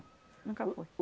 Nunca fui.